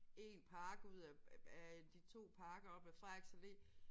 Én park ud af af øh de 2 parker op ad Frederiks Allé